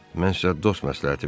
Mən sizə dost məsləhəti verim.